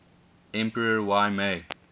emperor y mei